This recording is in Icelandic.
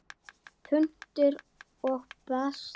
Punktur og basta!